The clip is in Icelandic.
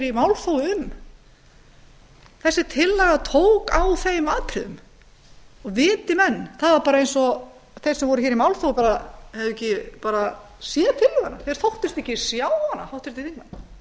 í málþófi um þessi tillaga tók á þeim atriðum og viti menn það var bara eins og þeir sem voru í málþófi hefðu ekki séð tillöguna háttvirtir þingmenn þóttust ekki sjá hana ræddu hana nánast